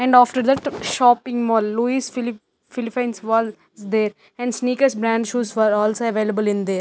and after that shopping mall louis philliph philliphines walls is there and sneakers brand shoes for also available in there.